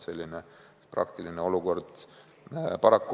Selline on tegelik olukord.